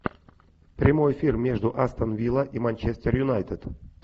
прямой эфир между астон вилла и манчестер юнайтед